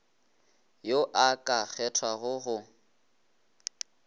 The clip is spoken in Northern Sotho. yo o ka kgethwago go